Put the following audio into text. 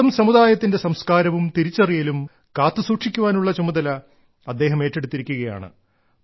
സ്വന്തം സമുദായത്തിന്റെ സംസ്കാരവും തിരിച്ചറിയലും കാത്തുസൂക്ഷിക്കുവാനുള്ള ചുമതല അദ്ദേഹം ഏറ്റെടുത്തിരിക്കുകയാണ്